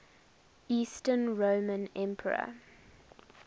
eastern roman emperor